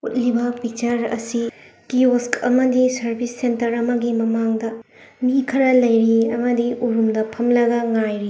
ꯎꯠꯂꯤꯕ ꯄꯤꯛꯆ꯭ꯔ ꯑꯁꯤ ꯑꯃꯒꯤ ꯁ꯭ꯔꯕꯤꯁ ꯁꯦꯇ꯭ꯔ ꯑꯃꯒꯤ ꯃꯃꯥꯡꯗ ꯃꯤ ꯈꯔ ꯂꯩꯔꯤ ꯑꯃꯗꯤ ꯎꯔꯨꯝꯗ ꯐꯝꯂꯒ ꯉꯥꯏꯔꯤ꯫